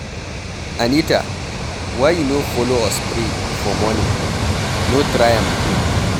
Anita why you no follow us pray for morning? No try am again